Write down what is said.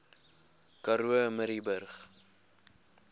karoo murrayburg